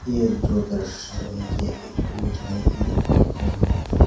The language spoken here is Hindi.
ये जो दृश्य है ये एक मिठाई की दुकान का है।